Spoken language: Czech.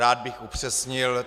Rád bych upřesnil.